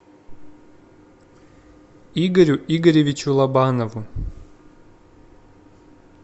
игорю игоревичу лобанову